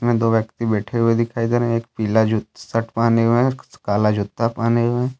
यहां दो व्यक्ति बैठे हुए दिखाई दे रहे हैं एक पिला जो शर्ट पहने हुए है काला जूता पहने हुए है।